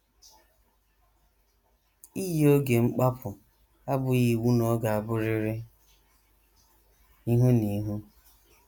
Iyi oge mkpapụ abụghị iwu na ọ ga - abụrịrị ihu na ihu.